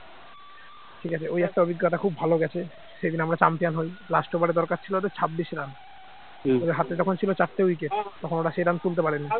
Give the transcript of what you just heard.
ঠিক আছে এই একটা অভিজ্ঞতা খুব ভালো গেছে সেদিন আমরা champion হই last over এ দরকার ছিল ওদের ছাব্বিশ run আর হাতে তখন ছিল চারটে wicket তখন ওরা সেই run তুলতে পারেনি